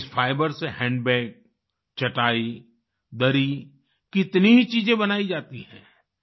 इस फाइबर से हैंडबैग चटाई दरी कितनी ही चीजें बनाई जाती हैं